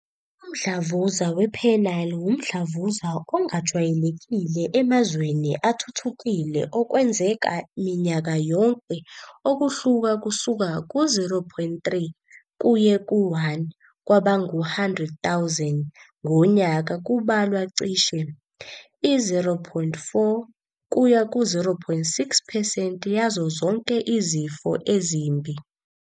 Umdlavuza wePenile wumdlavuza ongajwayelekile emazweni athuthukile okwenzeka minyaka yonke okuhluka kusuka ku-0.3 kuye ku-1 kwabangu-100,000 ngonyaka kubalwa cishe i-0.4-0.6 percent yazo zonke izifo ezimbi.